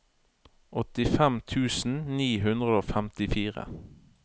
åttifem tusen ni hundre og femtifire